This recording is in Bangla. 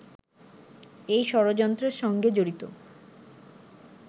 এই ষড়যন্ত্রের সঙ্গে জড়িত